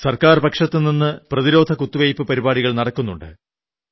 സർക്കാർപക്ഷത്തുനിന്നു പ്രതിരോധ കുത്തിവയ്പ്പു പരിപാടികൾ നടക്കുന്നുണ്ട്